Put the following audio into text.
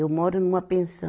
Eu moro numa pensão.